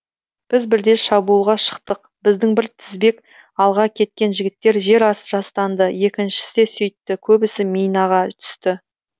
біз бірде шабуылға шықтық біздің бір тізбек алға кеткен жігіттер жер жастанды екіншісі де сөйтті көбісі минаға түсті